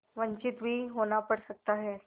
वंचित भी होना पड़ सकता है